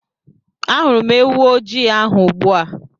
Ahụrụ m ewu ojii ahụ ugbu a.